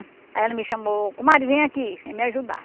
Aí ela me chamou, comadre, vem aqui vem me ajudar.